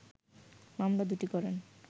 মামলা দুটি করেন